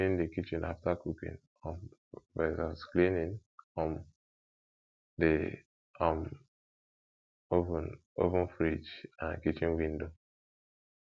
cleaning the kitchen after cooking um vs cleaning um the um oven fridge and kitchen window